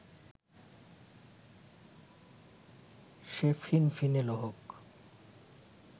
সে ফিনফিনে হোক